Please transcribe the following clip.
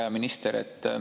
Hea minister!